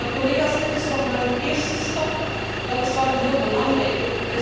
Maar, collega's, dit is nog maar een eerste stap, weliswaar een heel belangrijke.